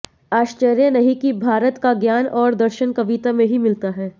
आश्चर्य नहीं कि भारत का ज्ञान और दर्शन कविता में ही मिलता है